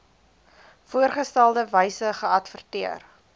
voorgeskrewe wyse geadverteer